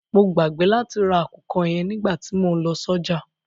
Mo gbàgbé láti ra àkùkọ yẹn nígbàtí mo lọ sọ́jà.